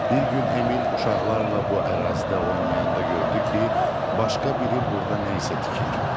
Bir gün Emil uşaqlarla bu ərazidə oynayanda gördü ki, başqa biri burda nə isə tikir.